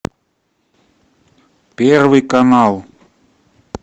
первый канал